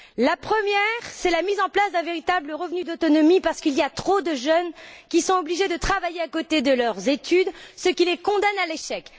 La première, c'est la mise en place d'un véritable revenu d'autonomie, parce qu'il y a trop de jeunes qui sont obligés de travailler à côté de leurs études, ce qui les condamne à l'échec.